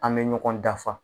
An bɛ ɲɔgɔn dafa.